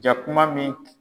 Jakuma min